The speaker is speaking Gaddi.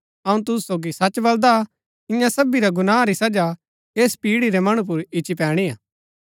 अऊँ तुसु सोगी सच बलदा ईयां सबी गुनाह री सजा ऐस पीढ़ी रै मणु पर ईच्ची पैणी हा